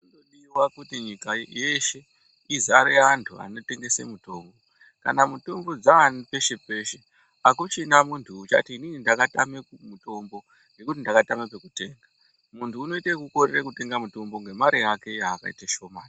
Toda kuti nyika yeshe izare antu anotengese mutombo. Kana mutombo dzaani peshe peshe. Hakuchina muntu uchati inini ndakatame mutombo ngekuti ndakatama pekutenga. Muntu unoite ekukorere kutenga ngemari yake yakaite shomane.